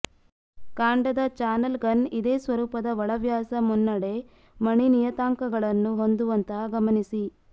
ಕಾಂಡದ channel gun ಇದೇ ಸ್ವರೂಪದ ಒಳವ್ಯಾಸ ಮುನ್ನಡೆ ಮಣಿ ನಿಯತಾಂಕಗಳನ್ನು ಹೊಂದುವಂತಹ ಗಮನಿಸಿ